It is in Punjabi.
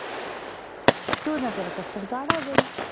ਤੇ ਓਹਦੇ ਨਾਲ ਤੇਰਾ custard ਗਾੜ੍ਹਾ ਹੋ ਜਾਏਗਾ।